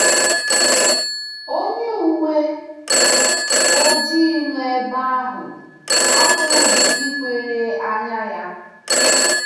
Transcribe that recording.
Onye uwe ojii nọ n'ebe ahụ apụghị ikwere anya ya!